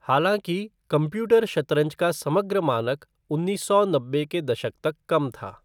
हालाँकि, कंप्यूटर शतरंज का समग्र मानक उन्नीस सौ नब्बे के दशक तक कम था।